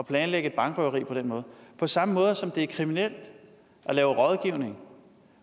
at planlægge et bankrøveri på den måde på samme måde som det er kriminelt at lave rådgivning